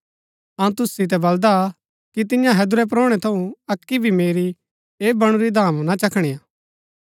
अऊँ तुसु सितै बलदा कि तियां हैदुरै परोणै थऊँ अक्की भी मेरी ऐह बणुरी धामा ना चखणीआ